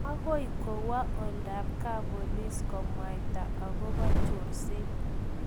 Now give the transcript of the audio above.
agoi kowo oldab kap polis kimwaita akobo chorset